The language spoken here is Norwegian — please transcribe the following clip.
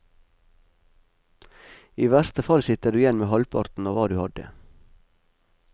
I verste fall sitter du igjen med halvparten av hva du hadde.